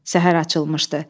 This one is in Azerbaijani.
Səhər açılmışdı.